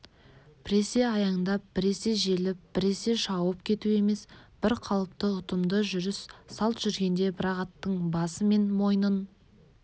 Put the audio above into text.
біресе аяңдап біресе желіп біресе шауып кету емес бірқалыпты ұтымды жүріс салт жүргенде бір-ақ аттың басы мен мойнын